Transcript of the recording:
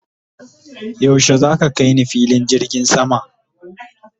yaushe zaka kaini filin jirgin sama?